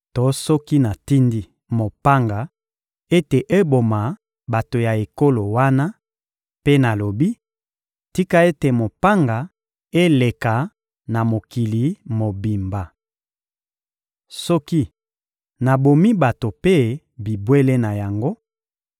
To soki natindi mopanga ete eboma bato ya ekolo wana mpe nalobi: ‹Tika ete mopanga eleka na mokili mobimba!› Soki nabomi bato mpe bibwele na yango;